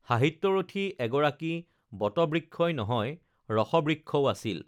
সাহিত্যৰথী এগৰাকী বটবৃক্ষই নহয় ৰসবৃক্ষও আছিল